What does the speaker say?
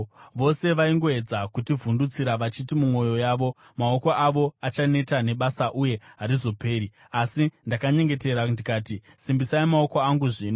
Vose vaingoedza kutivhundutsira vachiti mumwoyo yavo, “Maoko avo achaneta nebasa, uye harizoperi.” Asi ndakanyengetera ndikati, “Simbisai maoko angu zvino.”